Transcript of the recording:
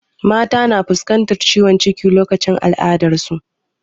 Mata na fuskantar ciwon ciki lokacin al'adar su